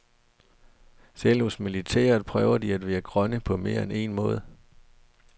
Selv hos militæret prøver de at være grønne på mere end en måde.